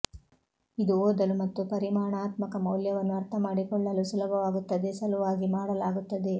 ಇದು ಓದಲು ಮತ್ತು ಪರಿಮಾಣಾತ್ಮಕ ಮೌಲ್ಯವನ್ನು ಅರ್ಥಮಾಡಿಕೊಳ್ಳಲು ಸುಲಭವಾಗುತ್ತದೆ ಸಲುವಾಗಿ ಮಾಡಲಾಗುತ್ತದೆ